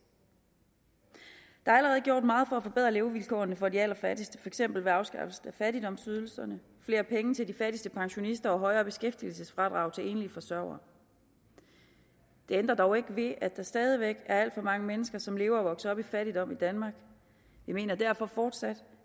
der er allerede gjort meget for at forbedre levevilkårene for de allerfattigste for eksempel ved afskaffelse af fattigdomsydelserne flere penge til de fattigste pensionister og højere beskæftigelsesfradrag til enlige forsørgere det ændrer dog ikke ved at der stadig væk er alt for mange mennesker som lever og vokser op i fattigdom i danmark vi mener derfor fortsat